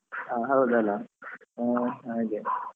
ಹಾ ಹೌದಲ್ಲ ಹಾ ಹಾಗೆ.